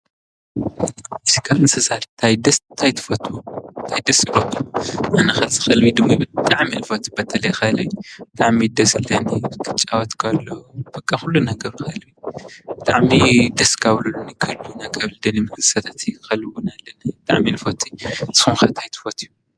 ካብ እንስሳ ታይ ትፈቱ ታይ ደስ ይብለኩም? ኣነ ከዚ ከልበይ ድሙይ ብጣዓሚ እየ ዝፎቱ በተለይ ከልቢ ብጣዕሚ እዩ ደስ ዝብለኒ ክጫወት ከሎ በቃ ኩሉ ነገሩ ብጣዕሚ ደስ ካብ ዝብሉኒ ከልቢ እና ከልቢ እንስሳታት እዩ። ከልቢ ብጣዕሚ አየ ልፈቲ ንስኩም ከ ታይ ትፈትዩ?